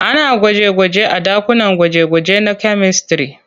Ana gwaje-gwanje a ɗakunan gwaje-gwaje na kyamistare.